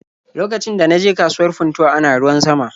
Lokacin da na je kasuwar Funtuwa ana ruwan sama.